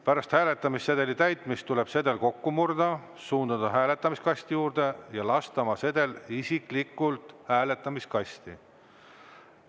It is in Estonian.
Pärast hääletamissedeli täitmist tuleb sedel kokku murda, suunduda hääletamiskasti juurde ja lasta oma sedel isiklikult hääletamiskasti.